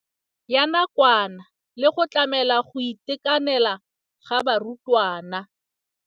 Ya nakwana le go tlamela go itekanela ga barutwana.